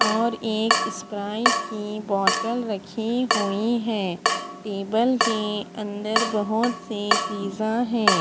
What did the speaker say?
और एक स्प्राइट की बोटल रखी हुई है टेबल है अंदर बहोत सी चिजा है।